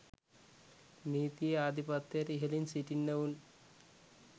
නීතියේ ආධිපත්‍ය‍ට ඉහලින් සිටින්නවුන්